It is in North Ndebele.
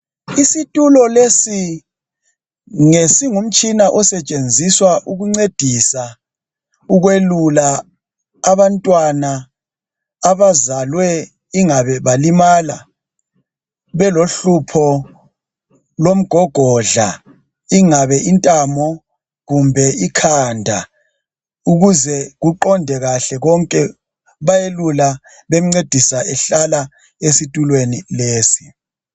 Isitulo lesi ngesingumtshina osetshenziswa ukuncedisa ukwelula abantwana abazalwe ingabe balimala belohlupho lomgogodla kungabe yintamo kumbe ikhanda ukuze kuqonde kahle konke bayamelula bemncedise ehlala esitulweni lesi.